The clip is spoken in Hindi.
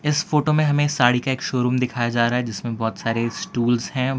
इस फोटो मे हमे साड़ी का एक शोरूम दिखाया जा रहा है जिसमें बहोत सारे स्टूल्स है।